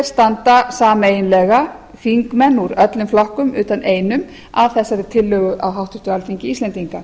standa sameiginlega þingmenn úr flokkum utan einum að þessari tillögu á háttvirtu alþingi íslendinga